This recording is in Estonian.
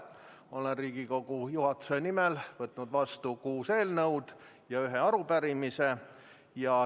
Olen Riigikogu juhatuse nimel võtnud vastu kuus eelnõu ja ühe arupärimise.